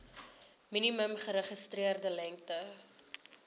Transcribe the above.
minimum geregistreerde lengte